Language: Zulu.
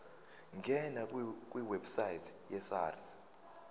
ngena kwiwebsite yesars